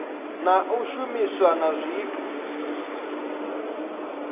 na u shumiswa na zwithu